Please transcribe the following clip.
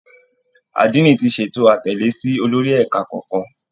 Àdínì ti ṣètò àtẹ̀lé sí olórí ẹ̀ka kọ̀ọ̀kan